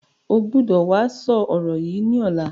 O gbọ́dọ̀ wá sọ ọ̀rọ̀ yìí ni ọ̀la!